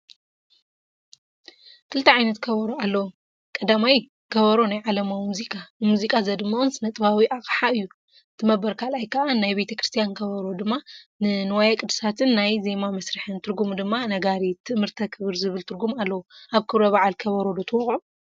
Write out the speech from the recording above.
ክልተ ዓይነት ከበሮ#- 1) ከበሮ ናይ ዓለማዊ ሙዚቃ፡- ንሙዚቃ ዘድምቕን ስነጥበባዊ ኣቕሓእዩ፡፡ 2)ናይ ቤተ ክ/ያን ከበሮ፡- ድማ ንዋየ ቅድሳትን ናይ ዜማ መሳርሕን ትርጉሙ ድማ ነጋሪት፣ ትእምርተ ክብር ዝብል ትርጉም ኣለዎ፡፡ ኣብ ክብረ በዓል ከበሮ ዶ ትወቕዑ?